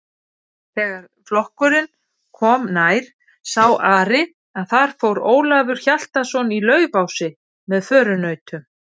Þegar flokkurinn kom nær sá Ari að þar fór Ólafur Hjaltason í Laufási með förunautum.